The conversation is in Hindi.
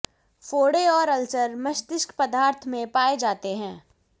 फोड़े और अल्सर मस्तिष्क पदार्थ में पाए जाते हैं